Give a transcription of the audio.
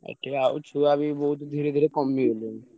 ପ୍ରାୟ ଛୁଆ ବି ବହୁତ ଧୀରେ ଧୀରେ କମିଗଲେଣି।